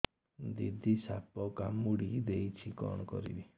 ଦିଦି ସାପ କାମୁଡି ଦେଇଛି କଣ କରିବି